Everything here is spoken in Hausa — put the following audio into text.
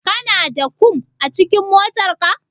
Kana da kum a cikin motarka?